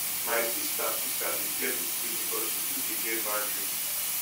my sista sista dey fear to sleep because she too dey get bad dream